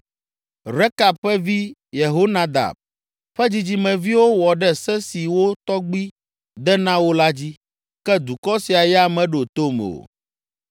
Rekab ƒe vi, Yehonadab, ƒe dzidzimeviwo wɔ ɖe se si wo tɔgbui de na wo la dzi, ke dukɔ sia ya meɖo tom o.’